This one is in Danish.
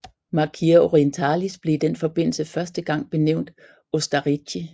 Marchia Orientalis blev i den forbindelse første gang benævnt Ostarrîchi